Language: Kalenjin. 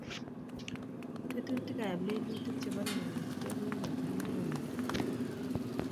tetutik ab lelutik chebo kewech ge kokikochang'a India.